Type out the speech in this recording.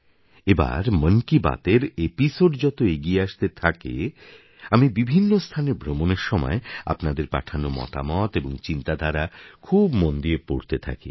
এবার মন কি বাতের এপিসোড যত এগিয়ে আসতে থাকে আমি বিভিন্ন স্থানে ভ্রমণের সময় আপনাদের পাঠানো মতামত এবং চিন্তাধারা খুব মন দিয়ে পড়তে থাকি